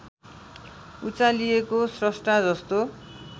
उचालिएको श्रष्टा जस्तो